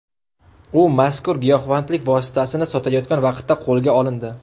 U mazkur giyohvandlik vositasini sotayotgan vaqtda qo‘lga olindi.